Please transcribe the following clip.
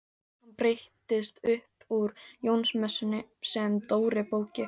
Hann breytist upp úr Jónsmessunni segir Dóri bóki.